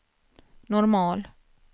normal